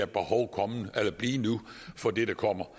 behov for det der kommer